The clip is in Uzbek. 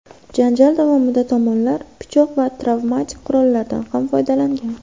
Janjal davomida tomonlar pichoq va travmatik qurollardan ham foydalangan.